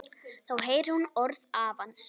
Þá heyrir hún orð afans.